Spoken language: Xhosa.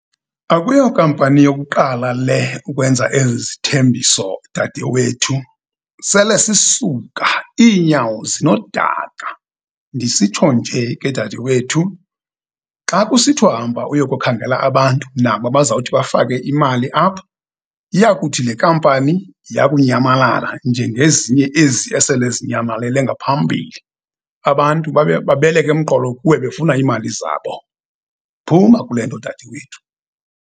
Akuyo kampani yokuqala le ukwenza ezi zithembiso, dade wethu, sele sisuka iinyawo zinodaka. Ndisitsho nje, ke dade wethu, xa kusithiwa hamba uyokukhangela abantu naba bazawuthi bafake imali apha, iyakuthi le kampani yakunyambalala njengezinye ezi esele zinyamalele ngaphambili abantu babe babeleke emqolo kuwe befuna iimali zabo. Phuma kule nto, dade wethu.